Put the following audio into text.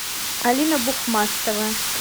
алина бухмастова